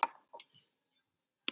Vonandi verður það reyndin áfram.